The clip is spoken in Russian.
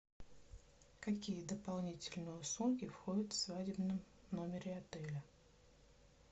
какие дополнительные услуги входят в свадебном номере отеля